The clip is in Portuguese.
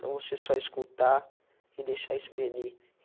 Não você só escutar e deixar (esprender).